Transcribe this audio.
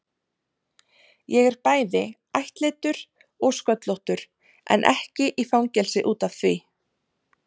Ég er bæði ættleiddur og sköllóttur, en ekki í fangelsi út af því.